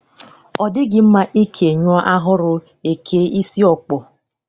Ọ dịghị mma ikè nyụọ ahụrụ, e kee isi ọkpọ.